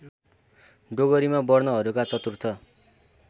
डोगरीमा वर्णहरूका चतुर्थ